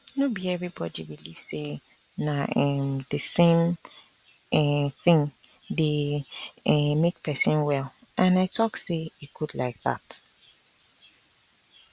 no be everybody believe say na um the same um thing dey um make person well and i talk say e good like that